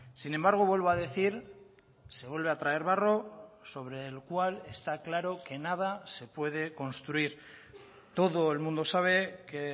sin embargo vuelvo a decir se vuelve a traer barro sobre el cual está claro que nada se puede construir todo el mundo sabe que